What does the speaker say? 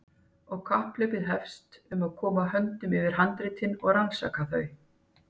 Og kapphlaupið hefst um að koma höndum yfir handritin og rannsaka þau.